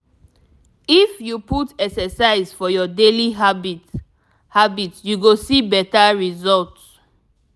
if you put exercise for your daily habit habit you go see better result.